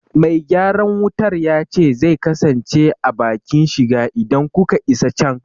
Me gyaran wutar ya ce zai kasance a bakin shiga idan kuka isa can.